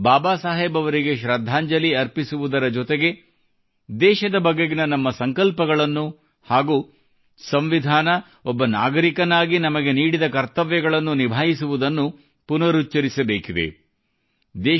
ಅಂದು ಬಾಬಾ ಸಾಹೇಬ್ ಅವರಿಗೆ ಶೃದ್ಧಾಂಜಲಿ ಅರ್ಪಿಸುವುದುರ ಜೊತೆಗೆ ದೇಶದ ಬಗೆಗಿನ ನಮ್ಮ ಸಂಕಲ್ಪಗಳನ್ನು ಹಾಗೂ ಸಂವಿಧಾನ ಒಬ್ಬ ನಾಗರಿಕನಾಗಿ ನಮಗೆ ನೀಡಿದ ಕರ್ತವ್ಯಗಳನ್ನು ನಿಭಾಯಿಸುವುದನ್ನು ಪುನರುಚ್ಛರಿಸಬೇಕಿದೆ